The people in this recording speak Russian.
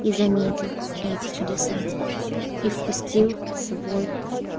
и заметил эти чудеса и впустил в свой